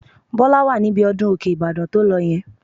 Bọ́lá wà níbi ọdún Òkè-Ìbàdàn tó lọ yẹn